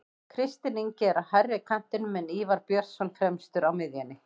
Kristinn Ingi er á hægri kantinum en Ívar Björnsson fremstur á miðjunni.